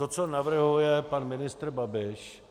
To, co navrhuje pan ministr Babiš